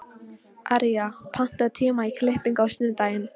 Arja, pantaðu tíma í klippingu á sunnudaginn.